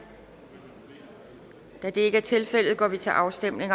da det ikke er tilfældet går vi til afstemning